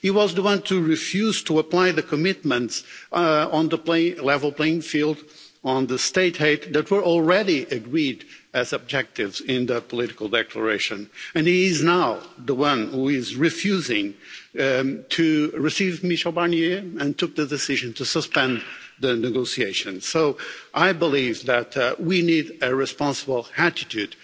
He was the one to refuse to apply the commitments on the level playing field on state aid, that were already agreed as objectives in the political declaration, and he is now the one who is refusing to receive Michel Barnier and took the decision to suspend the negotiations. So I believe that we need a responsible attitude.